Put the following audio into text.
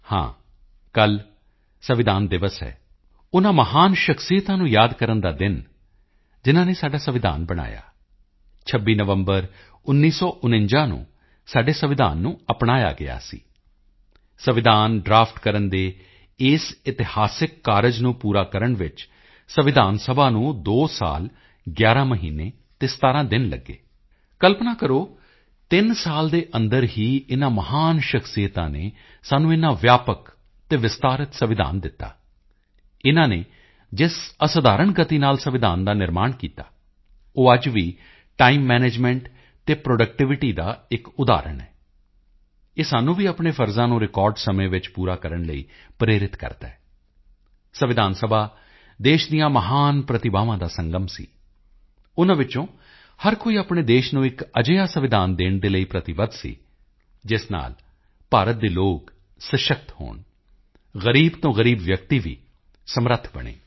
ਹਾਂ ਕੱਲ੍ਹ ਸੰਵਿਧਾਨ ਦਿਵਸ ਹੈ ਉਨ੍ਹਾਂ ਮਹਾਨ ਸ਼ਖ਼ਸੀਅਤਾਂ ਨੂੰ ਯਾਦ ਕਰਨ ਦਾ ਦਿਨ ਜਿਨ੍ਹਾਂ ਨੇ ਸਾਡਾ ਸੰਵਿਧਾਨ ਬਣਾਇਆ 26 ਨਵੰਬਰ 1949 ਨੂੰ ਸਾਡੇ ਸੰਵਿਧਾਨ ਨੂੰ ਅਪਣਾਇਆ ਗਿਆ ਸੀ ਸੰਵਿਧਾਨ ਡਰਾਫਟ ਕਰਨ ਦੇ ਇਸ ਇਤਿਹਾਸਕ ਕਾਰਜ ਨੂੰ ਪੂਰਾ ਕਰਨ ਵਿੱਚ ਸੰਵਿਧਾਨ ਸਭਾ ਨੂੰ 2 ਸਾਲ 11 ਮਹੀਨੇ ਤੇ 17 ਦਿਨ ਲੱਗੇ ਕਲਪਨਾ ਕਰੋ ਤਿੰਨ ਸਾਲ ਦੇ ਅੰਦਰ ਹੀ ਇਨ੍ਹਾਂ ਮਹਾਨ ਸ਼ਖ਼ਸੀਅਤਾਂ ਨੇ ਸਾਨੂੰ ਇੰਨਾ ਵਿਆਪਕ ਅਤੇ ਵਿਸਤ੍ਰਿਤ ਸੰਵਿਧਾਨ ਦਿੱਤਾ ਇਨ੍ਹਾਂ ਨੇ ਜਿਸ ਅਸਧਾਰਣ ਗਤੀ ਨਾਲ ਸੰਵਿਧਾਨ ਦਾ ਨਿਰਮਾਣ ਕੀਤਾ ਉਹ ਅੱਜ ਵੀ ਟਾਈਮ ਮੈਨੇਜਮੈਂਟ ਅਤੇ ਪ੍ਰੋਡਕਟੀਵਿਟੀ ਦਾ ਇੱਕ ਉਦਾਹਰਣ ਹੈ ਇਹ ਸਾਨੂੰ ਵੀ ਆਪਣੇ ਫ਼ਰਜ਼ਾਂ ਨੂੰ ਰਿਕਾਰਡ ਸਮੇਂ ਵਿੱਚ ਪੂਰਾ ਕਰਨ ਲਈ ਪ੍ਰੇਰਿਤ ਕਰਦਾ ਹੈ ਸੰਵਿਧਾਨ ਸਭਾ ਦੇਸ਼ ਦੀਆਂ ਮਹਾਨ ਪ੍ਰਤਿਭਾਵਾਂ ਦਾ ਸੰਗਮ ਸੀ ਉਨ੍ਹਾਂ ਵਿੱਚੋਂ ਹਰ ਕੋਈ ਆਪਣੇ ਦੇਸ਼ ਨੂੰ ਇੱਕ ਅਜਿਹਾ ਸੰਵਿਧਾਨ ਦੇਣ ਦੇ ਲਈ ਪ੍ਰਤੀਬੱਧ ਸੀ ਜਿਸ ਨਾਲ ਭਾਰਤ ਦੇ ਲੋਕ ਸਸ਼ਕਤ ਹੋਣ ਗ਼ਰੀਬ ਤੋਂ ਗ਼ਰੀਬ ਵਿਅਕਤੀ ਵੀ ਸਮਰੱਥ ਬਣੇ